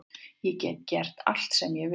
Ég get gert allt sem ég vil